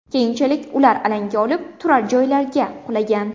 Keyinchalik ular alanga olib, turar-joylarga qulagan.